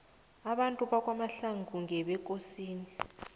abantu bakwamahlangu ngebekosini